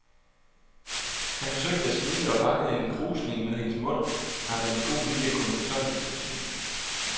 Han forsøgte at smile og fangede en krusning ved hendes mund, der med lidt god vilje kunne fortolkes som et smil.